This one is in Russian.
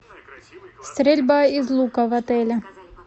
стрельба из лука в отеле